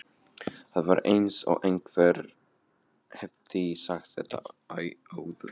Það var eins og einhver hefði sagt þetta áður.